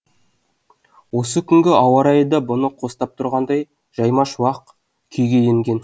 осы күнгі ауа райы да бұны қостап тұрғандай жайма шуақ күйге енген